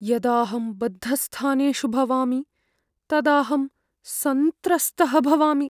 यदाहं बद्धस्थानेषु भवामि तदाहं सन्त्रस्तः भवामि।